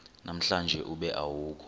namhlanje ube awukho